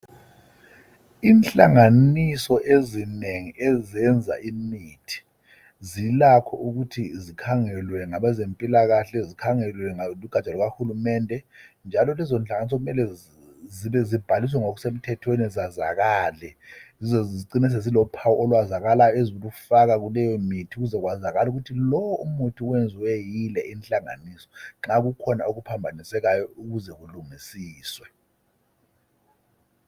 inhlanganiso ezinengi ezenza imithi zilakho ukuthi zikhangelwe ngabezempilakhle zikhangelwe lugatsha lukahulumende njalo lezo nhlanganiso kumele zibhaliswe ngokusemthethweni zazakale zicine sezilophawu olwazakalayo ezilufaka kuleyo mithi ukuze kwazakale ukuthi lowo muthi uyenziwe yile inhlanganiso nxa kukhona okuphambanisekayo ukuze kulungisiswe